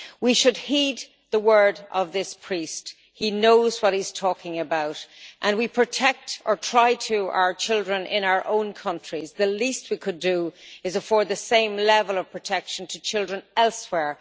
We should heed the words of this priest he knows what he is talking about. As we protect, or try to protect, our children in our own countries, the least we could do is afford the same level of protection to children elsewhere.